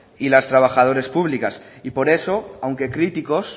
y las trabajadoras públicas y por eso aunque críticos